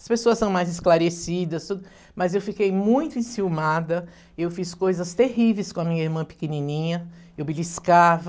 As pessoas são mais esclarecidas, mas eu fiquei muito enciumada, eu fiz coisas terríveis com a minha irmã pequenininha, eu beliscava.